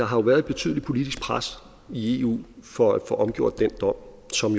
har været et betydeligt politisk pres i eu for at få omgjort den dom som